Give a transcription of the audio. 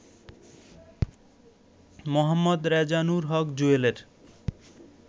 Md Rezanur Haque জুয়েলের